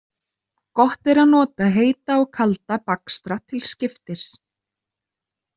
Gott er að nota heita og kalda bakstra til skiptis.